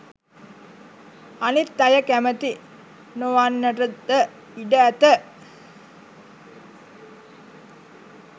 අනිත් අය කැමති නොවන්නටද ඉඩ ඇත.